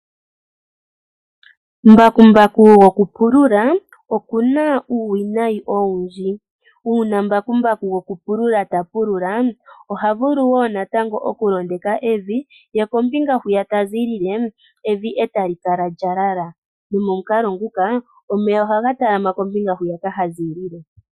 Mbakumbaku go ku pulula, okuna uuwinayi owundji. Uuna mbakumbaku goku pulula ta pulula, oha vulu wo natango oku londeka evi, ye kombinga hwiya tazi lile, evi eta li kala lya lala. No momukalo nguka, omeya ohaga talama kombinga huka ha zilile.